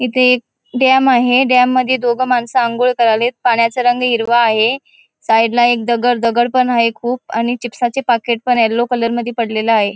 इथे एक डैम आहे. डैम मध्ये दोघ माणस आंघोळ कराले आहेत पाण्याचा रंग हिरवा आहे साइड ला एक दगड दगड पण आहे एक खूप आणि चिप्साचे पाकीट पण आहे. येल्लो कलर मध्ये पडलेल आहे.